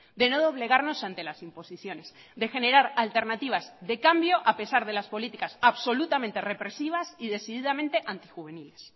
de no doblegarnos ante las imposiciones de generar alternativas de cambio a pesar de las políticas absolutamente represivas y decididamente antijuveniles